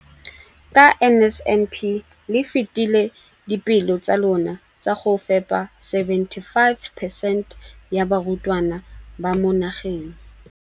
Ka NSNP le fetile dipeelo tsa lona tsa go fepa masome a supa le botlhano a diperesente ya barutwana ba mo nageng.